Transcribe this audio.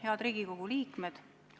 Head Riigikogu liikmed!